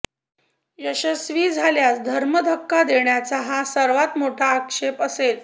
यशस्वी झाल्यास धर्म धक्का देण्याचा हा सर्वात मोठा आक्षेप असेल